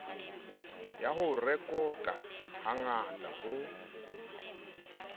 ya ho rekota hangata ho